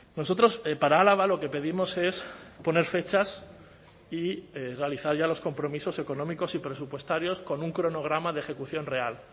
nosotros para álava lo que pedimos es poner fechas y realizar ya los compromisos económicos y presupuestarios con un cronograma de ejecución real